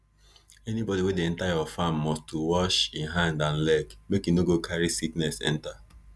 anybody wey dey enter your farm must to wash e hand and leg make e no go carry sickness enter